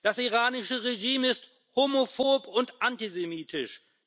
Das iranische Regime ist homophob und antisemitisch.